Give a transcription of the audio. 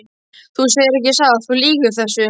Þú segir ekki satt, þú lýgur þessu!